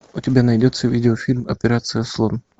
у тебя найдется видеофильм операция слон